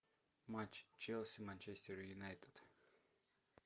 матч челси манчестер юнайтед